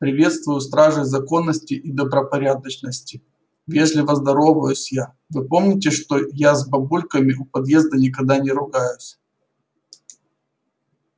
приветствую стражей законности и добропорядочности вежливо здороваюсь я вы помните что я с бабульками у подъезда никогда не ругаюсь